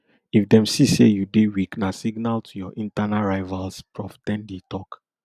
if dem see say you dey weak na signal to your internal rivals prof ten di tok